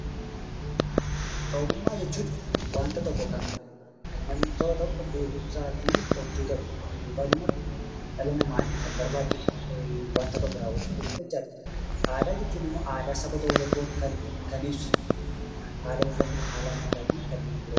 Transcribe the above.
Ogummaa jechuun wanta kan namni tokko beekumsaa offiisaatiin hojjatudha. Akkasumas dhala namaaf kan barbaachisudha. Adaraa jechuun immoo haala uffataa, haala nyaataa fi kanneen biroos ibsa.